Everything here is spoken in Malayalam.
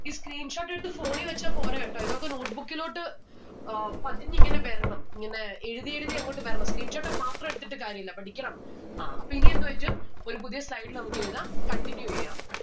ഈ screenshot എടുത്ത് phone ഈ വച്ച പോരാ കേട്ടോ ഇതൊക്കെ notebook ഇലോട്ട് ഏർ പതിഞ്ഞിങ്ങനെ വരണം. ഇങ്ങനെ എഴുതി എഴുതി അങ്ങോട്ട് വരണം screenshot മാത്രം എടുത്തിട്ട് കാര്യുല്ല പഠിക്കണം. ആ അപ്പോ ഇനി എന്ത് പറ്റും ഒരു പുതിയ slide ൽ നമ്മുക്ക് എഴുതാം continue എയ്യാം